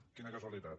quina casualitat